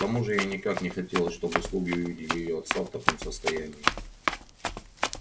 к тому же ей никак не хотелось чтобы слуги увидели её отца в таком состоянии